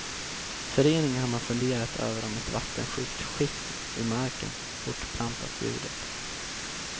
I föreningen har man funderat över om ett vattensjukt skikt i marken fortplantat ljudet.